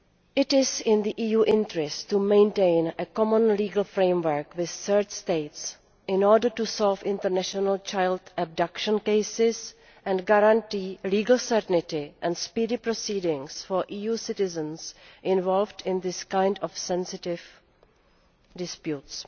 It is in the EU's interest to maintain a common legal framework with third states in order to solve international child abduction cases and guarantee legal certainty and speedy proceedings for EU citizens involved in these kinds of sensitive disputes.